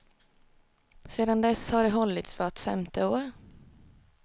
Sedan dess har de hållits vart femte år.